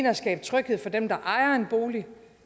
at skabe tryghed for dem der ejer en bolig